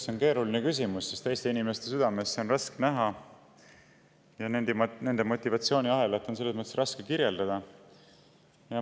See on keeruline küsimus, sest teiste inimeste südamesse on raske näha ja nende motivatsiooniahelat raske kirjeldada.